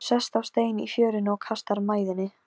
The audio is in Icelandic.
Hún hefur alltaf þráð að eignast tjald.